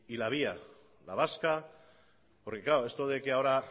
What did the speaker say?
la vía la vasca porque claro esto de que ahora